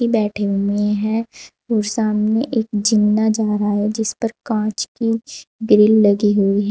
बैठे हुए है और सामने एक जिन्ना जा रहा है जिस पर कांच की ग्रिल लगी हुई है।